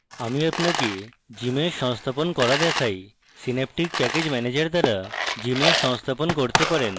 আমি আপনাকে gmsh সংস্থাপন করা দেখাই সিন্যাপটিক প্যাকেজ ম্যানেজার দ্বারা gmsh সংস্থাপন করতে পারেন